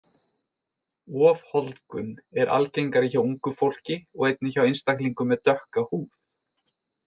Ofholdgun er algengari hjá ungu fólki og einnig hjá einstaklingum með dökka húð.